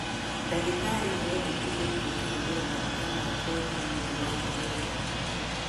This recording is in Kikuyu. Ndagĩtarĩ nĩendekithĩtie kũhũthĩra maguta ma ngothi nĩũndu wa nyegerera